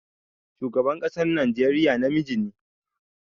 Shugaban ƙasar Najeriya namiji ne